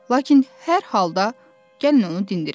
Lakin hər halda gəlin onu dindirrək.